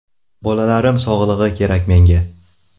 Bolalarim sog‘lig‘i kerak menga.